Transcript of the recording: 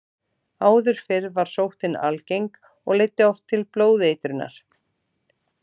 Áður fyrr var sóttin algeng og leiddi oft til blóðeitrunar.